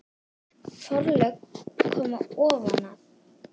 Forlög koma ofan að